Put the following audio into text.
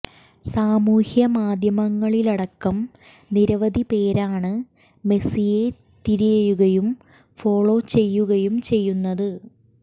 സാമൂഹ്യ മാധ്യമങ്ങളിലടക്കം നിരവധി പേരാണ് മെസ്സിയെ തിരയുകയും ഫോളോ ചെയ്യുകയും ചെയ്യുന്നത്